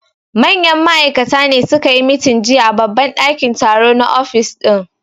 Manyan ma'aikata ne su ka yi meeting jiya a babban dakin taro na office din